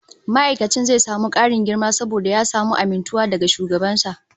Ma'aikacin zai samu karin girma saboda ya samu amintuwa daga shugaban sa